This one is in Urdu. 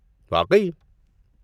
واقعی!؟